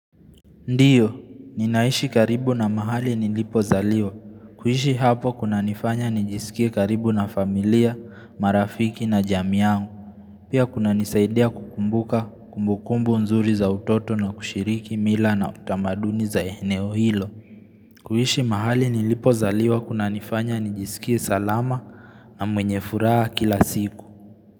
Ndiyo, ninaishi karibu na mahali nilipo zaliwa. Kuhishi hapo kuna nifanya nijisikia karibu na familia, marafiki na jamii yangu. Pia kuna nisaidia kukumbuka kumbukumbu nzuri za utoto na kushiriki mila na utamaduni za eneo hilo. Kuhishi mahali nilipo zaliwa kuna nifanya nijisikia salama na mwenye furaha kila siku.